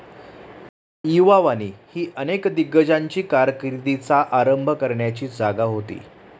युवावानी ही अनेक दिग्गजांची कारकिर्दीचा आरंभ करण्याची जागा होती.